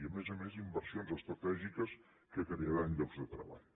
i a més a més inversions estratègiques que crearan llocs de treball